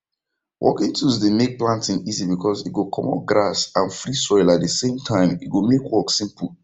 working tools dey make planting easy because e go comot grass and free soil at the same time e go make work simple